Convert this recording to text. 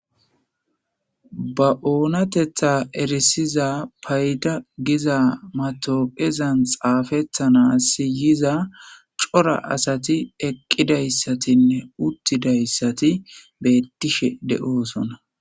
Ba oonatetha erisiza fayda giza matoqeza xaafetanas yiza cora asati eqidaysatinne uttidayssati beettishe de'osona